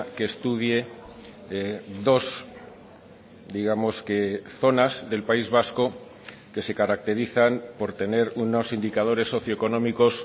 que estudie dos digamos que zonas del país vasco que se caracterizan por tener unos indicadores socioeconómicos